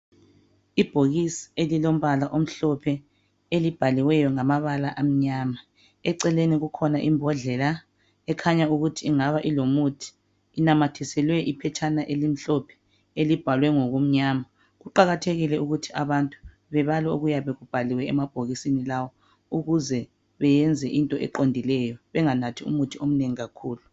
ibhokisi elilombala omhlophe elibhaliweyo ngamabala amnyama eceleni kukhona imbodlela ekhanya ukuthi ingaba ilomuthi inamathiselwe iphetshena elimhlophe elibhalwe ngokumnyama kuqakathekile ukuthi abantu bebale okuyabe kubhaliwe emabhokisini lawa ukuze beyenze into eqondileyo benganathiumuthi omnengi kakhulu